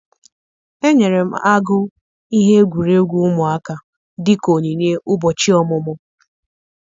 Enyere m agụ ihe egwuregwu ụmụaka dịka onyinye ụbọchị ọmụmụ.